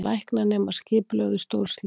Læknanemar skipulögðu stórslys